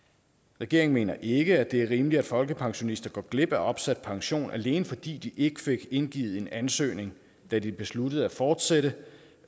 regeringen mener ikke at det er rimeligt at folkepensionister går glip af opsat pension alene fordi de ikke fik indgivet en ansøgning da de besluttede at fortsætte